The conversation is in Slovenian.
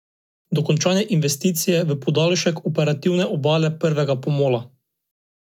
Dokončanje investicije v podaljšek operativne obale prvega pomola.